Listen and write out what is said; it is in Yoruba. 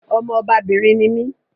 Ọmọ ọbabìnrin ni mí